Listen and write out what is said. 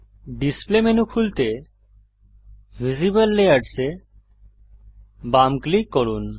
display menu খুলতে visible layers এ বাম ক্লিক করুন